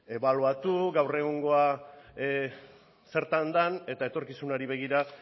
ebaluatu gaur egungoa zertan den eta etorkizunari begira